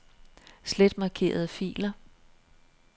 Slet markerede filer.